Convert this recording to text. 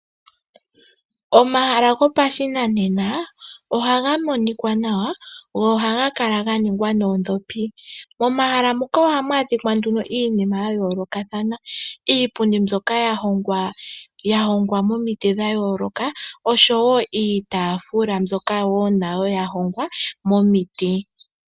Omahala go pashinanena ohaga monika nawa go ohaga kala ga ningwa moodhopi, momahala muka ohamu adhika nduno iinima yayoolokathana ngaashi iipundi mbyoka yahongwa momiti dhayooloka osho wo iitafula mbyoka nayo yahongwa momiti.